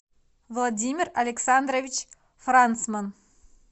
владимир александрович францман